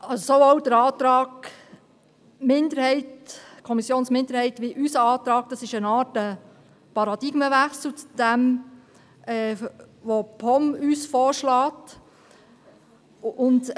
Sowohl der Antrag der Kommissionsminderheit als auch unser Antrag bilden eine Art Paradigmenwechsel zu dem, was uns die POM vorschlägt.